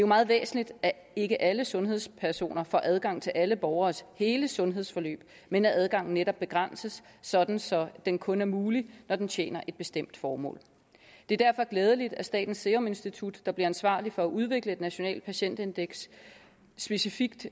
meget væsentligt at ikke alle sundhedspersoner får adgang til alle borgeres hele sundhedsforløb men at adgangen netop begrænses sådan så den kun er mulig når den tjener et bestemt formål det er derfor glædeligt at statens serum institut der bliver ansvarlig for at udvikle nationalt patientindeks specifikt